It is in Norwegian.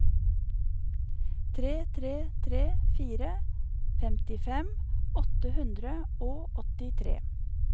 tre tre tre fire femtifem åtte hundre og åttitre